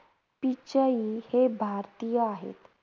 पिचाई हे भारतीय आहेत.